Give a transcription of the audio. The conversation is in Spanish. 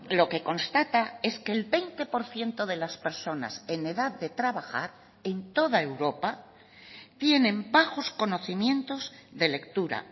lo que constata es que el veinte por ciento de las personas en edad de trabajar en toda europa tienen bajos conocimientos de lectura